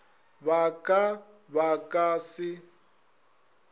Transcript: ba ka ba ka se